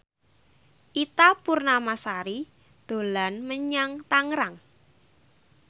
Ita Purnamasari dolan menyang Tangerang